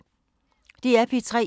DR P3